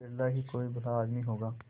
बिरला ही कोई भला आदमी होगा